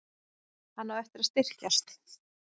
Hann á eftir að styrkjast.